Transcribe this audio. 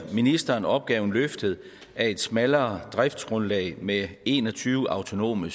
ministeren opgaven løftet af et smallere driftsgrundlag med en og tyve autonome